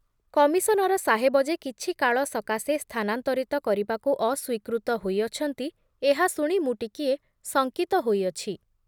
Commissioner ସାହେବ ଯେ କିଛି କାଳ ସକାଶେ ସ୍ଥାନାନ୍ତରିତ କରିବାକୁ ଅସ୍ବୀକୃତ ହୋଇଅଛନ୍ତି, ଏହା ଶୁଣି ମୁଁ ଟିକିଏ ଶଂକିତ ହୋଇଅଛି ।